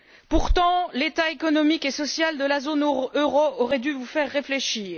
Pourtant, la situation économique et sociale de la zone euro aurait dû vous faire réfléchir.